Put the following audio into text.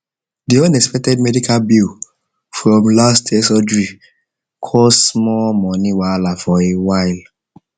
the unexpected medical bill from last year surgery cause small money wahala for a while for a while